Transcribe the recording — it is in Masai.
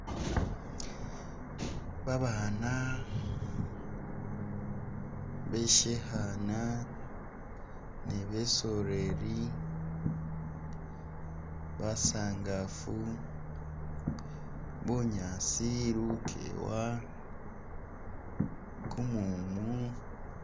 Baabana beshikhaana ni besoreri, basaangafu, bunyaasi, lukewa, kumumu.